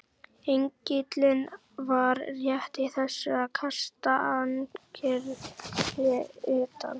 Engillinn var rétt í þessu að kasta ankeri utar.